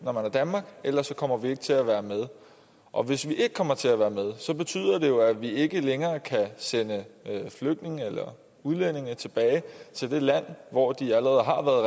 når man er danmark ellers kommer vi ikke til at være med og hvis vi ikke kommer til at være med betyder det jo at vi ikke længere kan sende flygtninge eller udlændinge tilbage til det land hvor de allerede